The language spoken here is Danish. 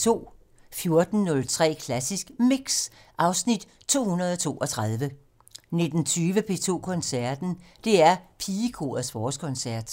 14:03: Klassisk Mix (Afs. 232) 19:20: P2 Koncerten - DR Pigekorets forårskoncert